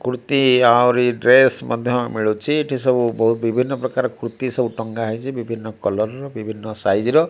କୁର୍ତି ଆହୁରି ଡ୍ରେସ୍ ମଧ୍ୟ ମିଳୁଚି ଏଠି ସବୁ ବହୁତ୍ ବିଭିନ୍ନ ପ୍ରକାର ର କୁର୍ତ୍ତି ସବୁ ଟଙ୍ଗା ଯାଇଚି ବିଭିନ୍ନ କଲର ର ବିଭିନ୍ନ ସାଇଜ ର।